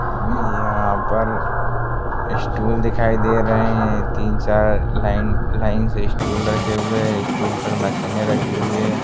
यहां पर स्टूल दिखाई दे रहे है तीन-चार लाइन लाइन से स्टूल रखे हुए है स्टूल पर मशीने रखी हुई है।